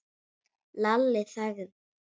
Lalli þagði.